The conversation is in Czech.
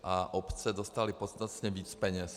A obce dostaly podstatně víc peněz.